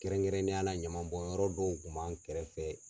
Kɛrɛn kɛrɛnnenya la ɲama bɔn yɔrɔ dɔw kun b'an kɛrɛfɛ.